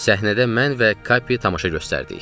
Səhnədə mən və Kapi tamaşa göstərdik.